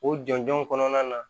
O jɔnjɔn kɔnɔna na